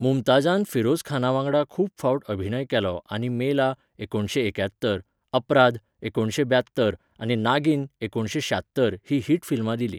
मुमताजान फिरोजखाना वांगडा खूब फावट अभिनय केलो आनी मेला, एकुणशे एक्यात्तर, अपराध, एकुणसे ब्यात्तर आनी नागीन एकुणशे शात्तर हीं हिट फिल्मां दिलीं.